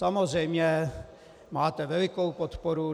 Samozřejmě máte velikou podporu.